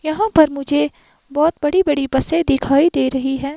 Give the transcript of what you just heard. यहां पर मुझे बहोत बड़ी बड़ी बसे दिखाई दे रही हैं।